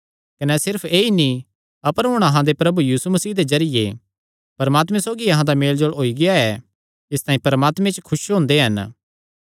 कने सिर्फ ऐई नीं अपर हुण अहां दे प्रभु यीशु मसीह दे जरिये परमात्मे सौगी अहां दा मेलजोल होई गेआ ऐ इसतांई परमात्मे च खुस हुंदे हन